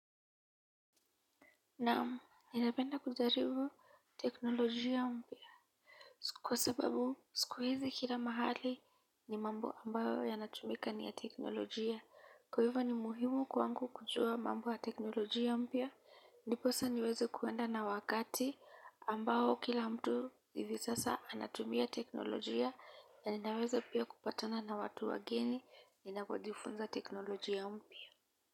Naam ninapenda kujaribu teknolojia mpya. Kwa sababu siku hizi kila mahali ni mambo ambayo yanatumika ni ya teknolojia kwa hivyo ni muhimu kwangu kujua mambo ya teknolojia mpya, ndiposa niweze kuenda na wakati ambao kila mtu hivi sasa anatumia teknolojia na ninaweza pia kupatana na watu wageni ninapojifunza teknolojia mpya.